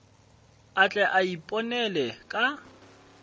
a tle a iponele ka